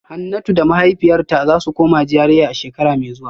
Hanatu da mahaifiyarta za su koma GRA a shekara mai zuwa